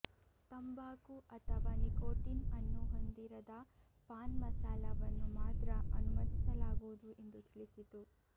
ತಂಬಾಕು ಅಥವಾ ನಿಕೋಟಿನ್ ಅನ್ನು ಹೊಂದಿರದ ಪಾನ್ ಮಸಾಲಾವನ್ನು ಮಾತ್ರ ಅನುಮತಿಸಲಾಗುವುದು ಎಂದು ತಿಳಿಸಿತು